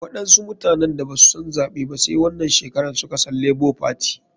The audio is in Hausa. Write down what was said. Waɗansu mutanen da basu san zaɓe ba sai wanan shekaran suka san lebo fati.